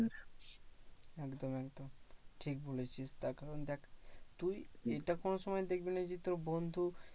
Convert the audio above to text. একদম একদম ঠিক বলেছিস। তার কারণ দেখ তুই এটা কোনো সময় দেখবিনা যে তোর বন্ধু